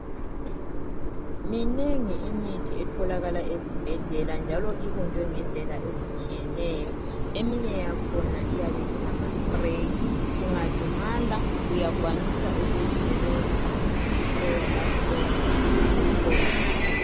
Minengi imithi etholakala ezibhedlela njalo ibunjwe ngendlela ezitshiyeneyo, eminye yakhona iyabe ingamaspreyi, ungalimala uyakwanisa ukuyisebenzisa ngokusprayer lapho oyabe ulimale khona.